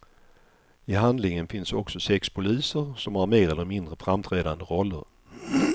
I handlingen finns också sex poliser, som har mer eller mindre framträdande roller.